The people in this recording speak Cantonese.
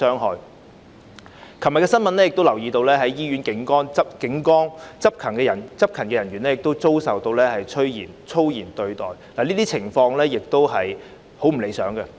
我亦留意到昨天有新聞報道指在醫院警崗執勤的警員遭受粗言對待，這些情況亦非常不理想。